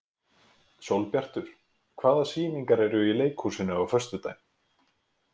Sólbjartur, hvaða sýningar eru í leikhúsinu á föstudaginn?